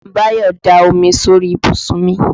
Báyọ̀ da omi sórí ìbùsùn mi.